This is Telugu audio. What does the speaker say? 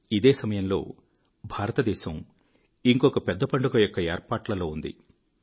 ఇదే సమయంలో భారతదేశం ఇంకొక పెద్ద పండుగ యొక్క ఏర్పాట్లలో ఉంది